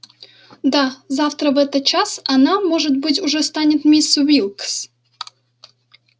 да завтра в этот час она может быть уже станет миссис уилкс